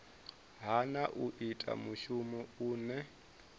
hana u ita mushumo une